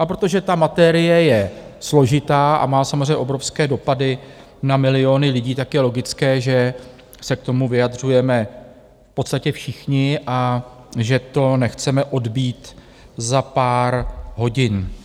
A protože ta materie je složitá a má samozřejmě obrovské dopady na miliony lidí, tak je logické, že se k tomu vyjadřujeme v podstatě všichni a že to nechceme odbýt za pár hodin.